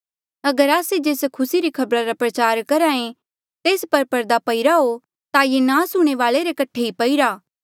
अगर आस्से जेस खुसी री खबरा रा प्रचार करहे तेस पर परदा पईरा हो ता ये नास हूणें वाले रे कठे ई पईरा